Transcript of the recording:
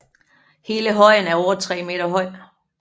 Hele højen er over 3 meter høj